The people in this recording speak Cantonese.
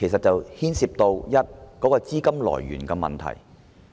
當中涉及資金來源的問題。